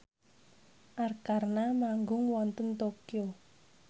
Arkarna manggung wonten Tokyo